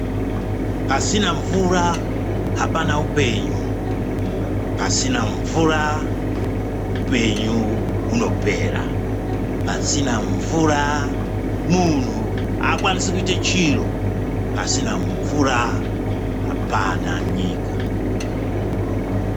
Pasina mvura hapana upenyu. Pasina mvura hupenyu hunopera. Pasina mvura muntu hakwanise kuite chiro. Pasina mvura, hapana nyika.